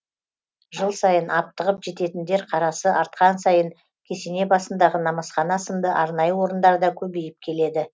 жыл сайын аптығып жететіндер қарасы артқан сайын кесене басындағы намазхана сынды арнайы орындар да көбейіп келеді